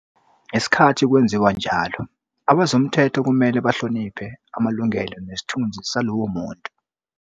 Ngesikhathi kwenziwa njalo, abezomthetho kumele bahloniphe amalungelo nesithunzi salowo muntu.